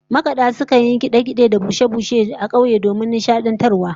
Makada sukan yi kade-kade da bushe-bushe a dandalin kauye domin nishadantarwa